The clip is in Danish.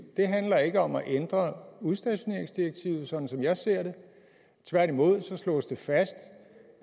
handler ikke om at ændre udstationeringsdirektivet sådan som jeg ser det tværtimod slås det fast